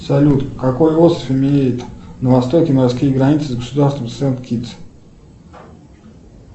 салют какой остров имеет на востоке морские границы с государством сент китс